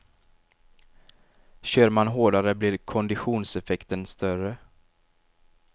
Kör man hårdare blir konditionseffekten större.